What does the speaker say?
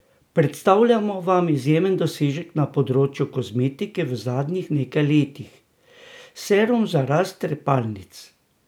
Predstavljamo vam izjemen dosežek na področju kozmetike v zadnjih nekaj letih, serum za rast trepalnic!